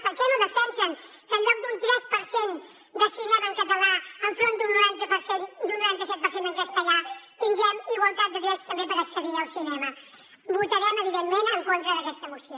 per què no defensen que en lloc d’un tres per cent de cinema en català enfront d’un noranta per cent en castellà tinguem igualtat de drets també per accedir al cinema votarem evidentment en contra d’aquesta moció